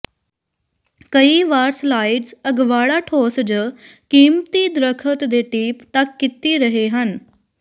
ਕਈ ਵਾਰ ਸਲਾਇਡਸ ਅਗਵਾੜਾ ਠੋਸ ਜ ਕੀਮਤੀ ਦਰਖ਼ਤ ਦੇ ਟੀਪ ਤੱਕ ਕੀਤੀ ਰਹੇ ਹਨ